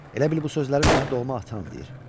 Elə bil bu sözləri sənə doğma atan deyir.